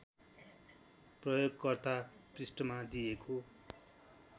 प्रयोगकर्ता पृष्ठमा दिएको